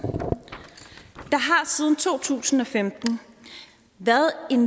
siden to tusind og femten